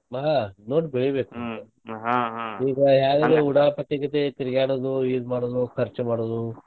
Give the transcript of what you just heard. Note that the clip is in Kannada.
ಹಾ ನೋಡಿ ಬೆಳಿಬೇಕ್ ಈಗ ಯಾವಗ್ಲೂ ಉಡಾಪಿಗತೆ ತಿರಗಾಡೊದು ಇದ್ ಮಾಡೋದು ಖರ್ಚ ಮಾಡೋದು.